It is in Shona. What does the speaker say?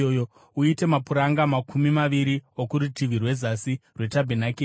Uite mapuranga makumi maviri okurutivi rwezasi rwetabhenakeri